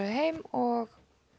heim og